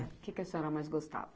O que que a senhora mais gostava?